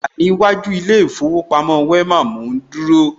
Mo wà ní iwájú ilé ìfowópamọ́ Wema, mò ń dúró